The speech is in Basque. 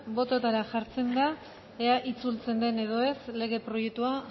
bototara jartzen da ea itzultzen den edo ez lege proiektua